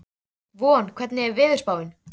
Von, hvernig er veðurspáin?